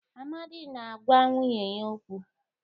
Amadi na-agwa nwunye ya okwu.